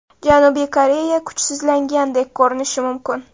Janubiy Koreya kuchsizlangandek ko‘rinishi mumkin.